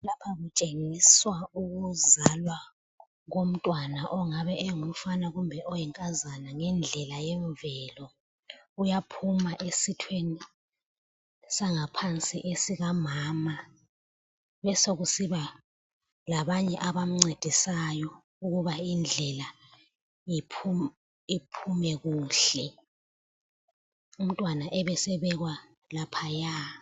Lapha kutshengiswa ukuzalwa komntwana ongabe engumfana kumbe oyinkazana ngendlela yemvelo, uyaphuma esithweni sangaphansi esikamama kube sokusiba labanye abamncedisayo ukuba indlela iphumekuhle umntwana abe sebekwa laphaya.